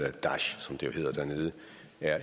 er